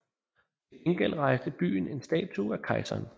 Til gengæld rejste byen en statue af kejseren